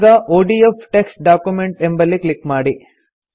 ಈಗ ODF text document ಎಂಬಲ್ಲಿ click ಮಾಡಿ